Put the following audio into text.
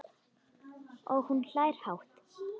Og hún hlær hátt.